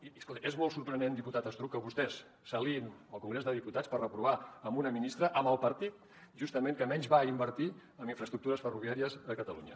i escolti és molt sorprenent diputat estruch que vostès s’aliïn al congrés dels diputats per reprovar una ministra amb el partit justament que menys va invertir en infraestructures ferroviàries a catalunya